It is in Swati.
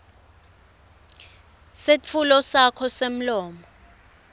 setfulo sakho semlomo